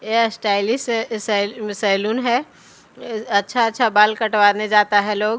ए stylish हैं इसेेल salon है अच्छा-अच्छा बाल कटवाने जाता हैं लोग--